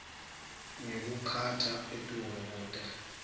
ngekukha etulu kute